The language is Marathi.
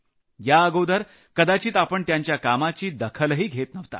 याअगोदर कदाचित आपण त्यांच्या कामाची दखलही घेत नव्हतो